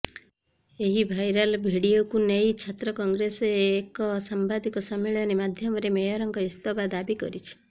ଏହି ଭାଇରାଲ୍ ଭିଡିଓକୁ ନେଇ ଛାତ୍ର କଂଗ୍ରେସ୍ ଏକ ସାମ୍ବାଦିକ ସମ୍ମିଳନୀ ମାଧ୍ୟମରେ ମେୟରଙ୍କ ଇସ୍ତଫା ଦାବି କରିଛି